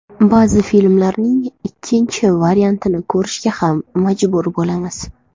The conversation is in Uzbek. Ba’zi filmlarning ikkinchi variantini ko‘rishga ham majbur bo‘lamiz.